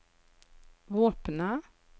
våpenet